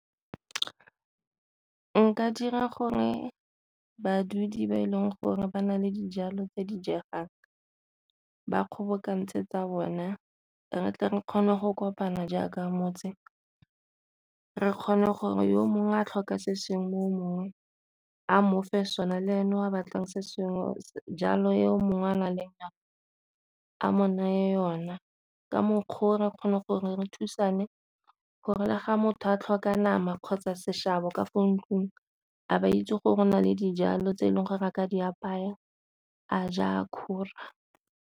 Nka dira gore badudi ba e leng gore ba na le dijalo tse di jegang ba kgobokantse tsa bona re tle re kgone go kopana jaaka motse, re kgone gore yo mongwe a tlhoka se sengwe yo mongwe a mofe sone, le ene wa batlang se sengwe jalo yo mongwe a nang yona a mo neye yona ka mokgwa gore re kgone gore re thusane gore la ga motho a tlhoka nama kgotsa seshabo ka fa ntlung a ba itse gore o na le dijalo tse e leng gore re a ka di apaya a ja kgora.